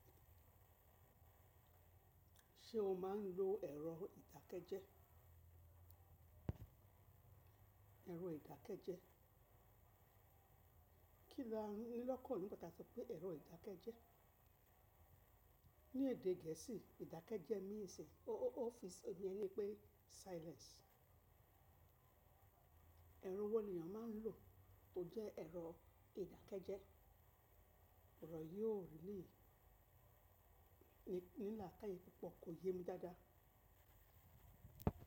Ṣé o máa ń lo ẹ̀rọ ìdákẹ́jẹ́? Ẹ̀rọ ìdákẹ́jẹ́. Kí la ní lọ́kàn nípa tà sopé ẹ̀rọ ìdákẹ́jẹ́. Ní èdè gẹ̀ẹ́sì, ìdákẹ́jẹ́ means ọ́ọ́fíìsì, ó yẹni pé silence. Ẹ̀rọ wo èyàn máa ń lò tó jẹ́ ẹ̀rọ ìdákẹ́jẹ́? Òòrè yìí ò ní lákàyè púpọ̀, kò yé mi dáadáa.